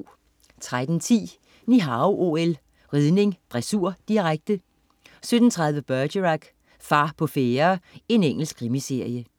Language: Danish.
13.10 Ni Hao OL: Ridning, dressur, direkte 17.30 Bergerac: Far på færde. Engelsk krimiserie